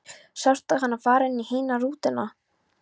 Sástu hana fara inn í hina rútuna?